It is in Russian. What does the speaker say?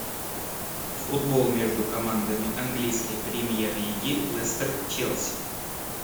футбол между командами английской премьер лиги лестер челси